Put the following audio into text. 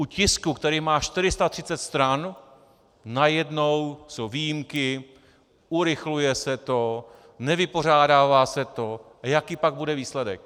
U tisku, který má 430 stran, najednou jsou výjimky, urychluje se to, nevypořádává se to - jaký pak bude výsledek!